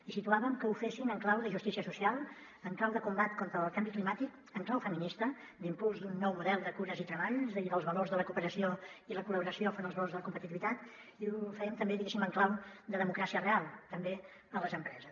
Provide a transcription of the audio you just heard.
i situàvem que ho fessin en clau de justícia social en clau de combat contra el canvi climàtic en clau feminista d’impuls d’un nou model de cures i treball i dels valors de la cooperació i la col·laboració enfront dels valors de la competitivitat i ho fèiem també diguéssim en clau de democràcia real també a les empreses